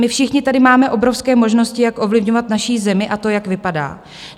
My všichni tady máme obrovské možnosti, jak ovlivňovat naši zemi a to, jak vypadá.